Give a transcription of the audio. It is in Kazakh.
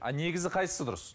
ал негізі қайсысы дұрыс